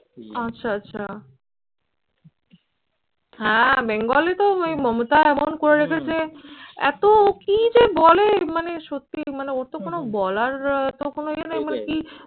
আচ্ছা আচ্ছা। হ্যাঁ বেঙ্গলে তো এই মমতা এমন করে রেখেছে এত কি যে বলে মানে সত্যি মানে ওর তো কোন বলার তো কোনো ইয়ে নাই মানে কি